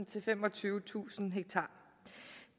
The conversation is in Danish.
til femogtyvetusind